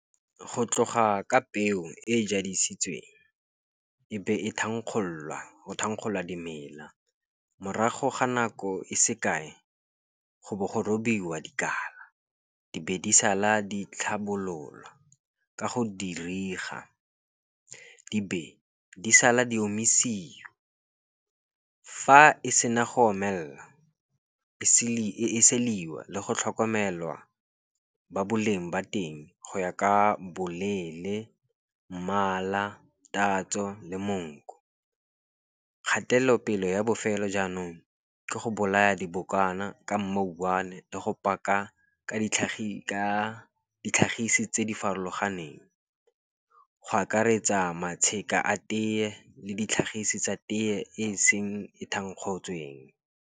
Go tloga ka peo e jadisitsweng e be e thankgololwa, go thankgololwa dimela. Morago ga nako e sekae, go bo go robiwa dikala. Di be di sala di tlhabololwa ka go di be di sala di omisiwa. Fa e sena go omelela e siliwa le go tlhokomelwa, ba boleng ba teng go ya ka boleele, mmala tatso le monko. Kgatelelopele ya bofelo jaanong ke go bolaya dibokwana, ka mouwane le go paka ka ditlhagisi tse di farologaneng, go akaretsa matsheka a teye le ditlhagiso tsa teye e seng e thankgotsweng.